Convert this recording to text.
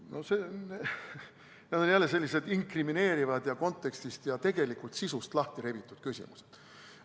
No need on jälle sellised inkrimineerivad, kontekstist ja tegelikult sisust lahtirebitud küsimused.